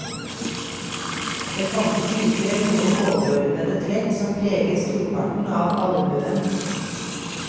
Det fantes likevel noen overordnede trekk som preget storparten av allmuen.